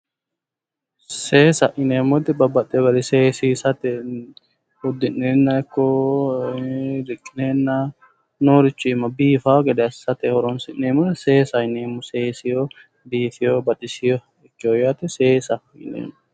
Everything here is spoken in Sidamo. Seesa yineemmo woyte babbaxxeyo garii seesiisate uddi'neenna ikko diphineenna noorichi iima biifaa gede assate horoonsi'neemmore seesaho yineemmo seeseyo biifeyo baxisericho seesaho yineemmo